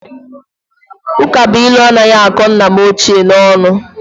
Ụkabụilu anaghị akọ nna m ochie n'ọnụ